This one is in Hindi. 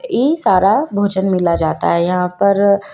ई सारा भोजन मिला जाता है यहां पर--